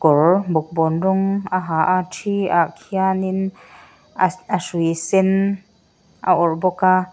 kawr bawkbawn rawng a ha a ṭhi ah kian in a a hrui sen a awrh bawk a.